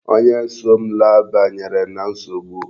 Onye so m laa banyere na nsogbu.